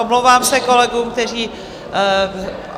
Omlouvám se kolegům, kteří...